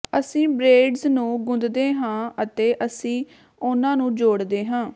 ਅਸੀਂ ਬ੍ਰੇਇਡਜ਼ ਨੂੰ ਗੁੰਦਦੇ ਹਾਂ ਅਤੇ ਅਸੀਂ ਉਨ੍ਹਾਂ ਨੂੰ ਜੋੜਦੇ ਹਾਂ